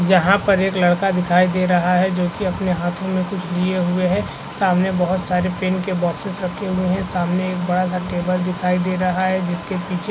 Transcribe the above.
यहाँ पर एक लड़का दिखाई दे रहा है जोकि अपने हाथों में कुछ लिए हुए है सामने बहुत सारे पेन के बॉक्सेस रखे हुए है सामने एक बड़ा -सा टेबल दिखाई दे रहा है जिसके पीछे --